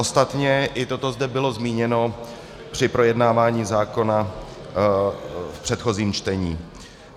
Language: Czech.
Ostatně i toto zde bylo zmíněno při projednávání zákona v předchozím čtení.